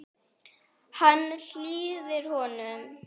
Hann hlýðir honum.